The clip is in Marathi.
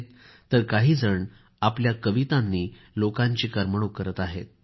तर काहीजण आपल्या कवितांनी लोकांची करमणूक करीत आहेत